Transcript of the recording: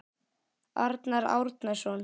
Arnar Árnason